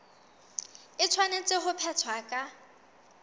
e tshwanetse ho phethwa ka